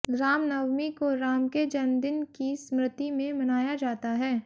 रामनवमी को राम के जन्मदिन की स्मृति में मनाया जाता है